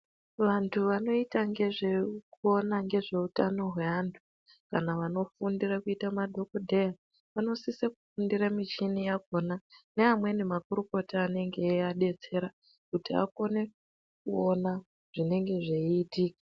Vantu vanoita ngezvekuona hutano hwevantu kana vanofundira kuita madhokodheya vanosisa kufundira muchini wakona neamweni makurukota anenge eiadetsera kuti akone kuona zvinenge zveitika.